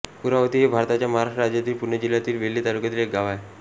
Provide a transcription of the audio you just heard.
कुरावती हे भारताच्या महाराष्ट्र राज्यातील पुणे जिल्ह्यातील वेल्हे तालुक्यातील एक गाव आहे